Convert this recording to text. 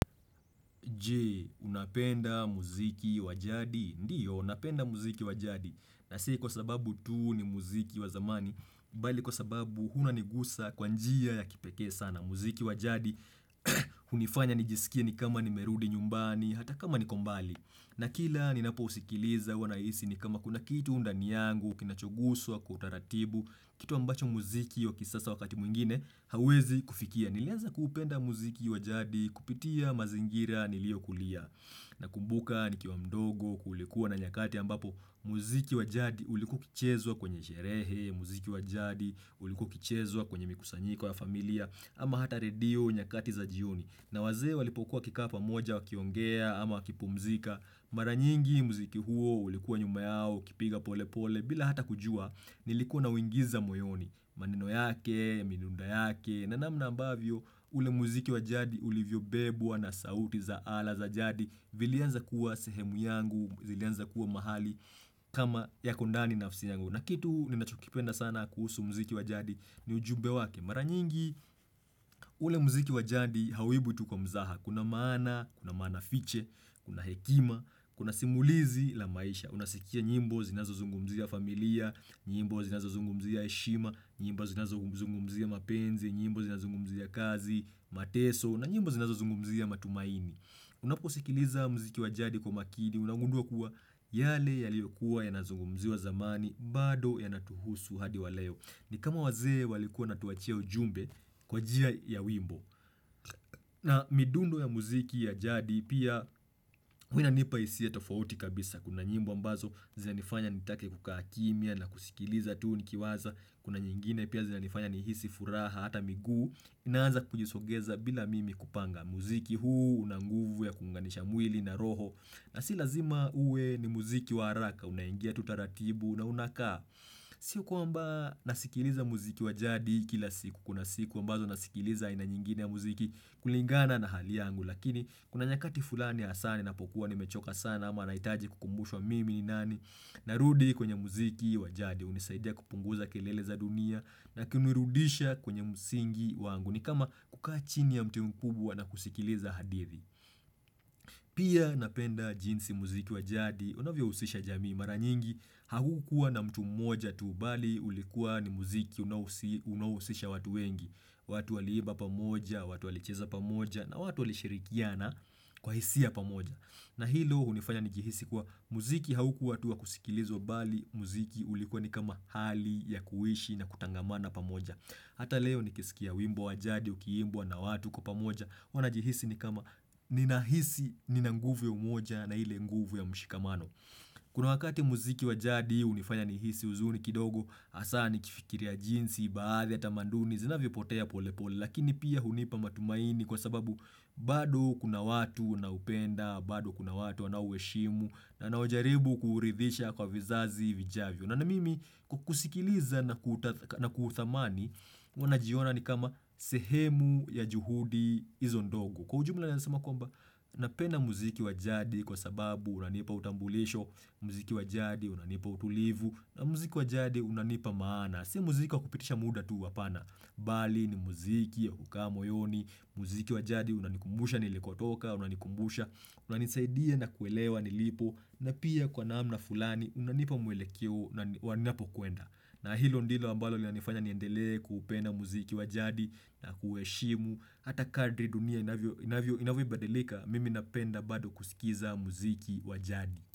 Je, unapenda muziki wajadi? Ndiyo, unapenda muziki wajadi. Na si kwa sababu tu ni muziki wa zamani, bali kwa sababu unanigusa kwa njia ya kipekee sana. Muziki wa jadi hunifanya nijisikie kama nimerudi nyumbani hata kama niko mbali. Na kila ninapo usikiliza huwa nahisi ni kama kuna kitu ndani yangu kinachoguswa kwa utaratibu, kitu ambacho muziki wakisasa wakati mwingine hauwezi kufikia. Nilianza kuupenda muziki wa jadi kupitia mazingira nilio kulia na kumbuka, nikiwa mdogo, kulikuwa na nyakati ambapo muziki wa jadi ulikua ukichezwa kwenye sherehe, muziki wa jadi ulikua ukichezwa kwenye mikusanyiko ya familia, ama hata redio nyakati za jioni. Na wazee walipokuwa wakikaa pamoja wakiongea ama wakipumzika Mara nyingi muziki huo ulikuwa nyuma yao ukipiga pole pole bila hata kujua. Nilikuwa nauingiza moyoni. Maneno yake, minunda yake, na namna ambavyo ule muziki wa jadi ulivyo bebwa na sauti za ala za jadi, vilianza kuwa sehemu yangu, zilianza kuwa mahali kama yako ndani nafsi yangu. Na kitu ninachokipenda sana kuhusu muziki wa jadi, ni ujumbe wake. Mara nyingi ule muziki wa jadi hauwibwi tu kwa mzaha, kuna maana, kuna maana fiche, kuna hekima, kuna simulizi la maisha. Unasikia nyimbo zinazo zungumzia familia, nyimbo zinazo zungumzia heshima Nyimba zinazo u zungumzia mapenzi, nyimbo zina zungumzia kazi, mateso, na nyimbo zinazo zungumzia matumaini. Unaposikiliza mziki wa jadi kwa makini, unangundua kuwa, yale yaliyokuwa yanazungumziwa zamani, bado yanatuhusu hadi wa leo. Ni kama wazee walikuwa natuachia ujumbe, kwa jia ya wimbo. Na midundo ya muziki ya jadi pia huwa inanipa hisia tofauti kabisa. Kuna nyimbo ambazo, zinanifanya nitake kukaa kimya na kusikiliza tu nikiwaza, kuna nyingine pia zinanifanya nihisi furaha hata miguu, inaanza kujisogeza bila mimi kupanga. Muziki huu una nguvu ya kuunganisha mwili na roho na si lazima uwe ni muziki waaraka, unaingia tu taratibu na unakaa. Sio kwamba nasikiliza muziki wa jadi kila siku, kuna siku ambazo nasikiliza aina nyingine ya muziki, kulingana na hali yangu. Lakini, kuna nyakati fulani hasaa ninapokuwa nimechoka sana ama nahitaji kukumbushwa mimi ni nani na rudi kwenye muziki wa jadi. Hunisaidia kupunguza kelele za dunia, na kinurudisha kwenye msingi wangu. Ni kama, kukaa chini ya mti mkubwa na kusikiliza hadithi. Pia napenda jinsi muziki wa jadi unavyohusisha jamii. Mara nyingi, haukua na mtu mmoja tu, bali ulikuwa ni muziki unaohusi unaohusisha watu wengi. Watu waliiba pamoja, watu walicheza pamoja na watu walishirikiana, kwa hisia pamoja. Na hilo hunifanya nijihisi kuwa, muziki haukua tu wa kusikilizwa bali muziki ulikuwa ni kama hali ya kuishi na kutangamana pamoja. Hata leo nikisikia wimbo wa jadi ukiimbwa na watu kwa pamoja, huwa najihisi ni kama, nina hisi, nina nguvu ya umoja na ile nguvu ya mshikamano. Kuna wakati muziki wa jadi hunifanya nihisi huzuni kidogo, hasaa nikifikiria jinsi baadhi ya tamanduni zinavyopotea polepole. Lakini pia hunipa matumaini kwa sababu, bado kuna watu naupenda, bado kuna watu wanao uheshimu, nanao jaribu kuuridhisha kwa vizazi vijavyo. Nana mimi, kukusikiliza na kurtathk, na kuuthamani, huwa najiona ni kama sehemu ya juhudi izo ndogo. Kwa ujumla yasema kwamba, napenda muziki wa jadi kwa sababu unanipa utambulisho, muziki wa jadi unanipa utulivu, na muziki wa jadi unanipa maana. Na sii muziki wa kupitisha muda tu, hapana, bali ni muziki ya kukaa moyoni, muziki wa jadi unanikumbusha nilikotoka, unanikumbusha, unanisaidia na kuelewa, nilipo, na pia kwa namna fulani unanipa mwelekeo nani wanapokwenda. Na hilo ndilo ambalo linanifanya niendele kuupenda muziki wa jadi na kueshimu, hata kadri dunia inavyo inavyo inavo ibadilika, mimi napenda bado kusikiza muziki wa jadi.